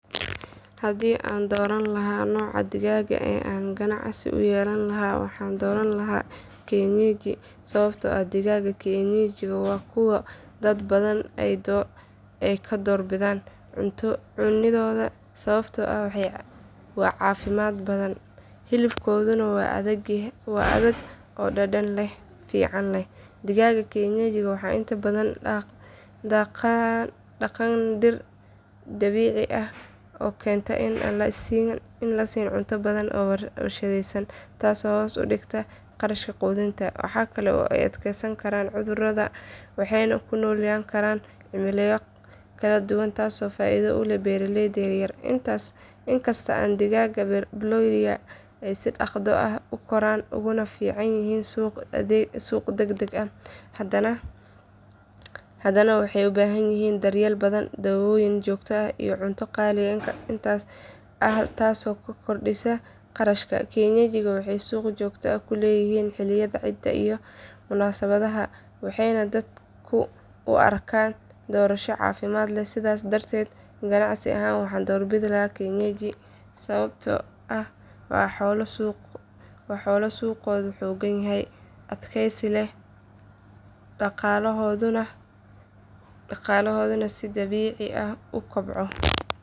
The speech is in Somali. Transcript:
Haddii aan dooran lahaa nooca digaaga ee aan ganacsi u yeelan lahaa waxaan dooran lahaa kienyeji sababtoo ah digaagga kienyeji waa kuwo dad badan ay ka door bidaan cuniddooda sababtoo ah waa caafimaad badan, hilibkooduna waa adag oo dhadhan fiican leh. Digaagga kienyeji waxay inta badan daaqaan dhir dabiici ah oo keenta in aan la siin cunto badan oo warshadaysan taasoo hoos u dhigta kharashka quudinta. Waxaa kale oo ay u adkaysan karaan cudurrada waxayna ku noolaan karaan cimilooyin kala duwan taasoo faa’iido u ah beeraleyda yaryar. Inkasta oo digaagga broiler ay si dhaqso ah u koraan uguna fiican yihiin suuq degdeg ah, hadana waxay u baahan yihiin daryeel badan, daawooyin joogto ah iyo cunto qaali ah taasoo kordhisa kharashka. Kienyeji waxay suuq joogto ah ku leeyihiin xilliyada ciidaha iyo munaasabadaha waxayna dadku u arkaan doorasho caafimaad leh. Sidaas darteed ganacsi ahaan waxaan doorbidi lahaa kienyeji sababtoo ah waa xoolo suuqkoodu xoogan yahay, adkaysi leh, dhaqaalahooduna si dabiici ah u kobco.